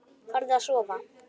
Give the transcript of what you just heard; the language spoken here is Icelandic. Farðu að sofa.